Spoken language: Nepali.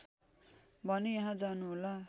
भने यहाँ जानुहोला